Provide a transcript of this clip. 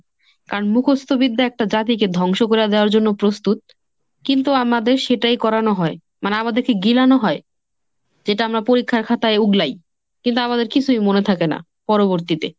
কারণ মুখস্ত বিদ্যা একটা জাতিকে ধ্বংস করে দেওয়ার জন্য প্রস্তুত, কিন্তু আমাদের সেটাই করানো হয়। মানে আমাদেরকে গিলানো হয়, যেটা আমরা পরীক্ষার খাতায় উগলাই। কিন্তু আমাদের কিছুই মনে থাকে না। পরবর্তীতে